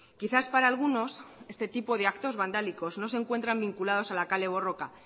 quizás para algunos este tipo de actos vandálicos no se encuentran vinculados a la kale borroka